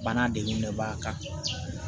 Bana de b'a kan